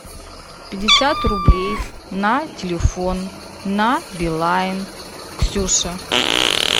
пятьдесят рублей на телефон на билайн ксюша